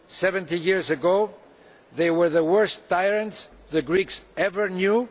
Seventy years ago they were the worst tyrants the Greeks had ever known.